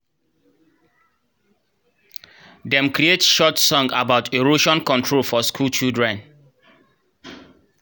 dem create short song about erosion control for school children